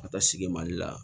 Ka taa sigi mali la